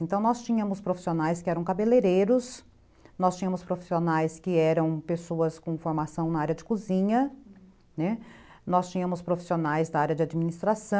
Então, nós tínhamos profissionais que eram cabeleireiros, nós tínhamos profissionais que eram pessoas com formação na área de cozinha, né, nós tínhamos profissionais da área de administração.